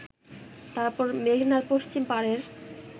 তারপর মেঘনার পশ্চিম পারের